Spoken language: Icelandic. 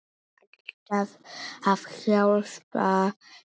Alltaf að hjálpa til.